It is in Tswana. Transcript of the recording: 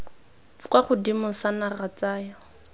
kwa godimo sa naga tsaya